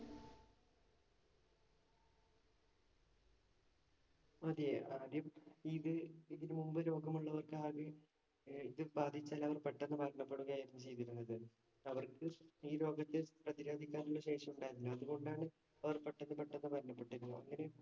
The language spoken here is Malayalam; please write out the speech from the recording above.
അതെ ആദ്യം ഇത് ഇതിനു മുമ്പ് രോഗമുള്ളവർക്ക് ആദ്യം ഇത് ബാധിച്ചാല്‍ അവര്‍ പെട്ടന്ന് മരണപ്പെടുകയാണ് ചെയ്തിരുന്നത്. അവര്‍ക്ക് ഈ രോഗത്തെ പ്രതിരോധിക്കാന്‍ ഉള്ള ശേഷി ഉണ്ടായിരുന്നില്ല. അത് കൊണ്ടാണ് അവര്‍ പെട്ടന്ന് പെട്ടന്ന് മരണപ്പെട്ടി രുന്നത് അവര്.